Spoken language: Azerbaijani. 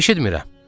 Eşitmirəm.